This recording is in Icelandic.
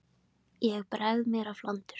Ég bregð mér á flandur.